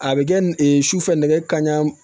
A bɛ kɛ sufɛ nɛgɛ kanɲɛ